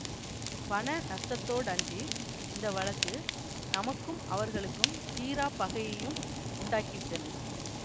பண நஷ்டத்தோடன்றி இந்த வழக்கு நமக்கும் அவர்களுக்கும் தீராப் பகையையும் உண்டாக்கி விட்டது